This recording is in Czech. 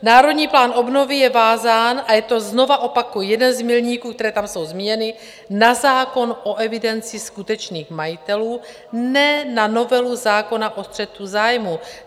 Národní plán obnovy je vázán a je to, znovu opakuji, jeden z milníků, které tam jsou zmíněny, na zákon o evidenci skutečných majitelů, ne na novelu zákona o střetu zájmů.